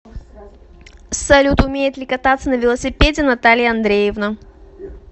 салют умеет ли кататься на велосипеде наталья андреевна